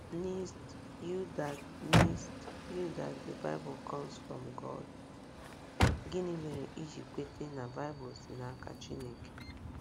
nced you that nced you that the Bible comes from God? Gịnị mere iji kweta na Baịbụl si n’aka Chineke?